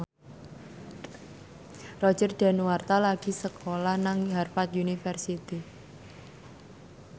Roger Danuarta lagi sekolah nang Harvard university